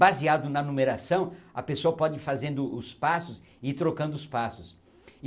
Baseado na numeração, a pessoa pode ir fazendo os passos e trocando os passos.